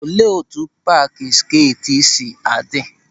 Olee etu paaki skeet si adị?